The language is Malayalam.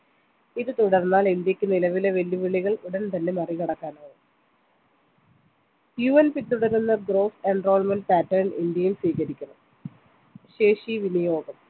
ഇത് തുടർന്നാൽ ഇന്ത്യക്ക് നിലവിലെ വെല്ലുവിളികൾ ഉടൻ തന്നെ മറികടക്കാനാവും UN പിന്തുടരുന്ന gross enrollment pattern ഇന്ത്യയിൽ സ്വീകരിക്കണം ശേഷി വിനിയോഗം